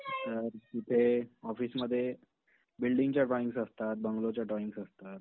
तर इथे ऑफिस मध्ये बिल्डिंग च्या ड्रॉईंगस असतात, बंगलो च्या ड्रॉईंगस असतात.